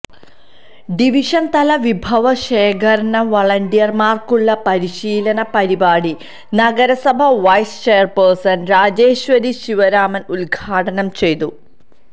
division തല വിഭവ ശേഖരണ വളണ്ടിയർമാർക്കുള്ള പരിശീലന പരിപാടി നഗരസഭാ വൈസ് ചെയർപേഴ്സൺ രാജേശ്വരി ശിവരാമൻ ഉദ്ഘാടനം ചെയ്തു